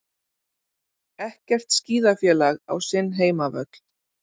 Ekkert skíðafélag á sinn heimavöll